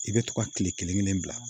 I bɛ to ka kile kelen kelen bila